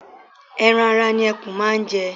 Ẹran ara ni ẹkún máa ń jẹ.